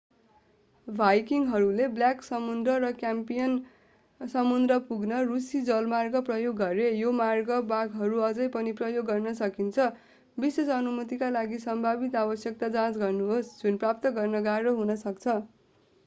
भाइकिङहरूले Black समुद्र र Caspian समुद्र पुग्न रूसी जलमार्ग प्रयोग गरे यी मार्गका भागहरू अझै पनि प्रयोग गर्न सकिन्छ विशेष अनुमतिका लागि सम्भावित आवश्यकता जाँच गर्नुहोस् जुन प्राप्त गर्न गाह्रो हुन सक्छ